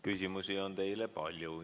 Küsimusi on teile palju.